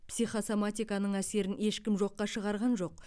психосоматиканың әсерін ешкім жоққа шығарған жоқ